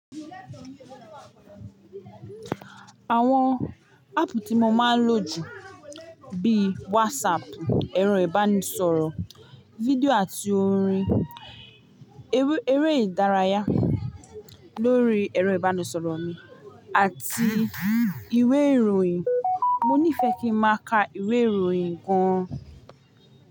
Àwọn áàpù tí mo máa ń lò jù bíi WhatsApp, ẹ̀rọ ìbánisọ̀rọ̀ fídíò àti orin, eré ìdárayá lórí ẹ̀rọ ìbánisọ̀rọ̀ mi àti ìwé ìròyìn. Mo ní fẹ́ kí n máa ka ìwé ìròyìn gan.